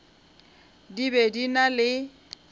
di be di na le